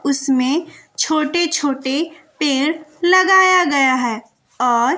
उसमें छोटे छोटे पेड़ लगाया गया है और--